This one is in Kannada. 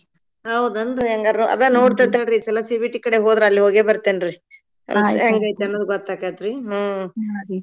ಹೌದನ್ರಿ ಹಂಗಾರ ಅದ ನೋಡ್ತಿವ್ ತಡ್ರಿ ಈ ಸಲಾ CBT ಕಡೆ ಹೋದ್ರ ಅಲ್ ಹೋಗ್ಯ ಬರತೇನ್ರಿ ಅನ್ನದ್ ಗೊತ್ತಾಕೆೇತ್ರೀ ಹ್ಮ್ ಹ್ಮ್ ರೀ